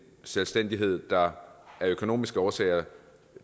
selvstændighed der af økonomiske årsager